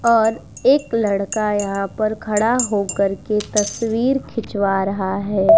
और एक लड़का यहाँ पर खड़ा हो कर के तस्वीर खिचवा रहा है।